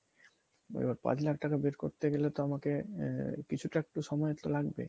পাঁচ লাখ টাকা বের করতে গেলে তো আমাকে আ~ কিছুটা একটু সময় তো লাগবে